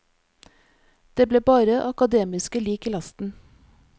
Det er bare akademiske lik i lasten.